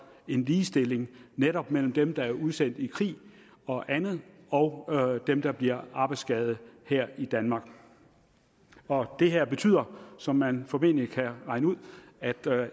en ligestilling netop mellem dem der er udsendt i krig og andet og dem der bliver arbejdsskadet her i danmark og det her betyder som man formentlig kan regne ud at